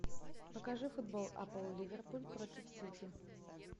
покажи футбол апл ливерпуль против сити